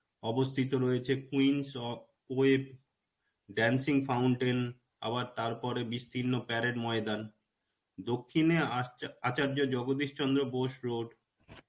অবস্থিত রয়েছে quince of dancing fountain আবার তারপরে বিস্তীর্ণ parade ময়দান. দক্ষিনে আশ্চা~ আচার্য জগদীশ চন্দ্র বোস road.